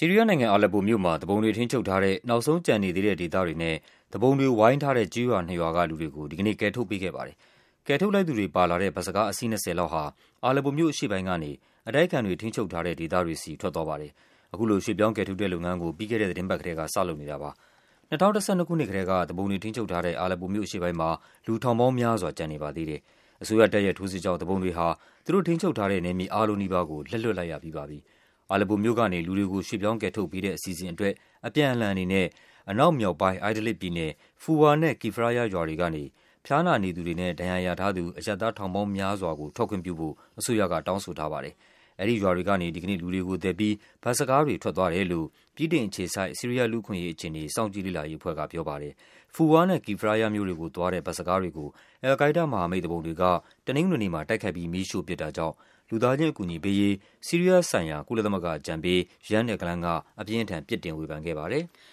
ီးရီးယားနိုင်ငံ၊ အာလက်ပိုမြို့မှာ သူပုန်တွေထိန်းချုပ်ထားတဲ့ နောက်ဆုံးကျန်နေသေးတဲ့ ဒေသတွေနဲ့ သူပုန်တွေဝိုင်းထားတဲ့ ကျေးရွာနှစ်ရွာက လူတွေကို ဒီကနေ့ ကယ်ထုတ်ပေးခဲ့ပါတယ်။ ကယ်ထုတ်လိုက်သူတွေပါလာတဲ့ ဘတ်စ်ကား အစီး ၂၀ လောက်ဟာ အာလက်ပိုမြို့အရှေ့ပိုင်းကနေ အတိုက်အခံတွေ ထိန်းချုပ် ထားတဲ့ဒေသတွေဆီ ထွက်သွားပါတယ်။ အခုလို ရွှေ့ပြောင်းကယ်ထုတ်တဲ့ လုပ်ငန်းကို ပြီးခဲ့တဲ့သီတင်းပတ်ကတည်းက စလုပ်နေ တာပါ။ ၂၀၁၂ ခုနှစ်ကတည်းက သူပုန်တွေ ထိန်းချုပ်ထားတဲ့ အာလက်ပိုမြို့အရှေ့ပိုင်းမှာ လူ ထောင်ပေါင်းများစွာ ကျန်နေပါသေးတယ်။ အစိုးရတပ်ရဲ့ ထိုးစစ်ကြောင့် သူပုန်တွေဟာ သူတို့ထိန်းချုပ်ထားတဲ့ နယ်မြေအားလုံးနီးပါးကို လက်လွှတ်လိုက်ရပြီးပါပြီ။ အာလက်ပိုမြို့ကနေ လူတွေကို ရွှေ့ပြောင်းကယ်ထုတ်ပေးတဲ့ အစီအစဉ်အတွက် အပြန်အလှန်အနေနဲ့ အနောက်မြောက်ပိုင်း Idlib ပြည်နယ်၊ Foua နဲ့ Kefraya ရွာတွေကနေ ဖျားနာနေသူတွေနဲ့ ဒဏ်ရာရထားသူ အရပ်သား ထောင်ပေါင်းများစွာကို ထွက်ခွင့်ပြုဖို့ အစိုးရက တောင်းဆိုထားပါတယ်။ အဲဒီရွာတွေကနေ ဒီကနေ့ လူူတွေကိုသယ်ပြီး ဘတ်စ်ကားတွေ ထွက်သွားတယ်လို့ ဗြိတိန်အခြေစိုက် ဆီးရီးယား လူ့အခွင့်အရေး အခြေအနေ စောင့်ကြည့်လေ့လာရေးအဖွဲ့က ပြောပါတယ်။ Foua နဲ့ Kefraya မြို့တွေကိုသွားတဲ့ ဘတ်စ်ကားတွေကို အယ်လ် ကိုင်းဒါးမဟာမိတ် သူပုန်တွေက တနင်္ဂနွေနေ့မှာ တိုက်ခိုက်ပြီး မီးရှို့ပစ်တာကြောင့် လူသားချင်းအကူအညီပေးရေး ဆီးရီးယား ဆိုင်ရာ ကုလသမဂ္ဂအကြံပေး Jan Egeland က အပြင်းအထန် ပြစ်တင် ဝေဖန်ခဲ့ပါတယ်။